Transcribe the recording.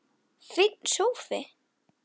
Komdu aftur.